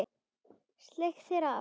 Sleikir það af.